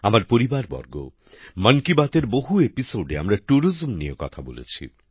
আমার পরিবারবর্গ মন কি বাত এর বহু পর্বে আমরা পর্যটন নিয়ে কথা বলেছি